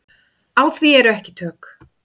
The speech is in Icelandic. Á því eru ekki tök.